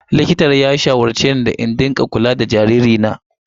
Likitan ya shawarce ni da in rika kula da jaririna.